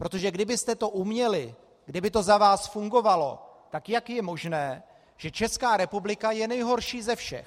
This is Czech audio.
Protože kdybyste to uměli, kdyby to za vás fungovalo, tak jak je možné, že Česká republika je nejhorší ze všech?